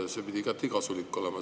See peaks igati kasulik olema.